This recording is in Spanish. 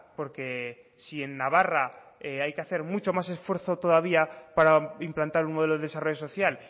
porque si en navarra hay que hacer mucho más esfuerzo todavía para implantar un modelo de desarrollo social